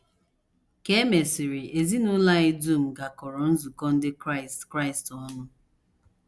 Ka e mesịrị, ezinụlọ anyị dum gakọrọ nzukọ ndị Kraịst Kraịst ọnụ.